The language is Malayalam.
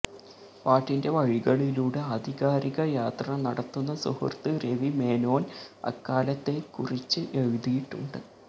പാട്ടിന്റെ വഴികളിലൂടെ ആധികാരിക യാത്ര നടത്തുന്ന സുഹൃത്ത് രവി മേനോന് അക്കാലത്തെ കുറിച്ച് എഴുതിയിട്ടുണ്ട്